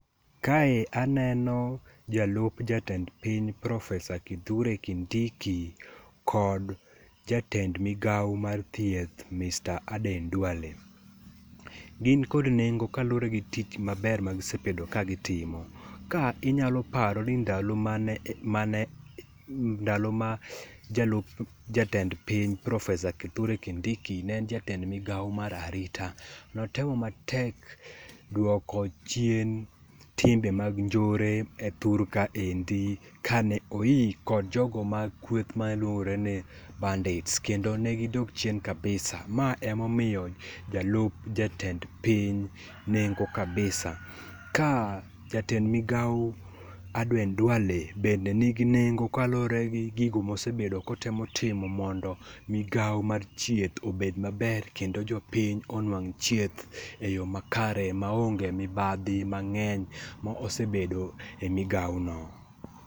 Kae aneno jalup jatend piny, professor Kithure Kindiki kod jatend migao mar thieth Mr. Aden Dwale. Gin kod nengo kaluwore gi tich maber ma gisebedo ka gitimo. Ka inyalo paro ni ndalo mane mane ndalo mane jalup jatend piny professor Kithure Kindiki ne en jatend migao mar arita, notemo matek duoko chien timbe mag njore ethur kaendi kane oi kod kueth mag jogo maluongore ni bandits kendo ne gidok chien kabisa. Ma emomiyo jalup jatend piny nengo kabisa. Ka jatend migao Aden Dwale bende nigi nengo kaluwore gi gigo mosetemo timo mondo migao mar thieth obed maber kendo jopiny onuang' chieth eyo makare maonge mibadhi mang'eny ma osebedo e migaono.